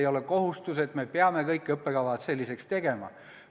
Ei ole kohustuslik, et me peame kõik õppekavad selliseks tegema.